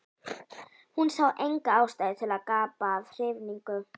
Hún sá enga ástæðu til að gapa af hrifningu.